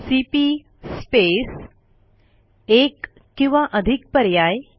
CP space एक किंवा अधिक पर्याय